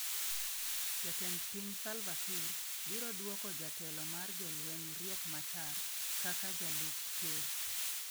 Jatend piny Salva Kiir, biro duoko jatelo mar jolweny, Riek Machar, kaka jalup ker.